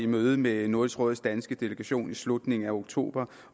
mødet med nordisk råds danske delegation i slutningen af oktober